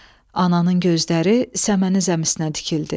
Ananın gözləri səməni zəmisinə tikildi.